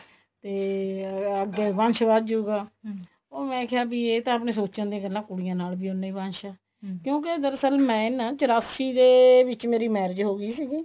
ਤੇ ਅਮ ਅੱਗੇ ਵੰਸ਼ ਵਧਜੁਗਾ ਮੈਂ ਕਿਹਾ ਇਹ ਤਾਂ ਆਪਣੇ ਸੋਚਣ ਦੀਆਂ ਗੱਲਾਂ ਕੁੜੀਆਂ ਨਾਲ ਵੀ ਉੰਨਾ ਹੀ ਵੰਸ਼ ਹੈ ਕਿਉਂਕਿ ਦਰਅਸਲ ਮੈਂ ਨਾ ਚਰਾਸੀ ਦੇ ਵਿੱਚ ਮੇਰੀ marriage ਹੋਗੀ ਸੀਗੀ